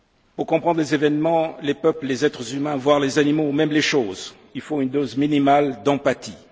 Pour comprendre les événements, les peuples, les êtres humains, voire les animaux ou même les choses, il faut une dose minimale d'empathie.